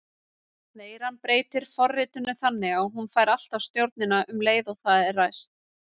Veiran breytir forritinu þannig að hún fær alltaf stjórnina um leið og það er ræst.